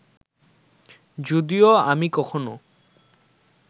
যদিও আমি কখনো